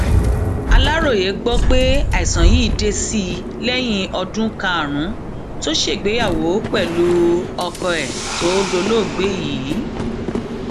aláròye gbọ pé àìsàn yìí dé sí i lẹyìn ọdún karùnún tó ṣègbéyàwó pẹlú ọkọ ẹ tó dolóògbé yìí